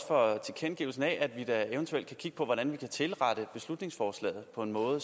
for tilkendegivelsen af at vi eventuelt kan kigge på hvordan vi kan tilrette beslutningsforslaget på den måde at